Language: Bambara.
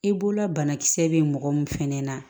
I bolola banakisɛ bɛ mɔgɔ min fɛnɛ na